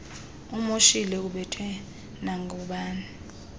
umoshile ubethwe nangubani